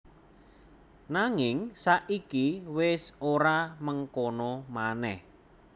Nanging saiki wis ora mengkono manèh